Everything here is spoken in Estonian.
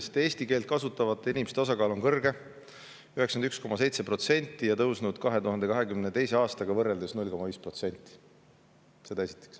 Esiteks, eesti keelt kasutavate inimeste osakaal on kõrge – 91,7% – ja see on tõusnud 2022. aastaga võrreldes 0,5%.